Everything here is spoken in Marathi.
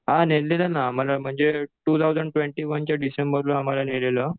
हां नेलेलं ना आम्हाला म्हणजे टू थाऊसंड ट्वेन्टी वनच्या डिसेंबरला आम्हाला नेलेलं.